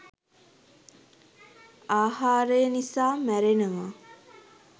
ආහාරය නිසා මැරෙනවා.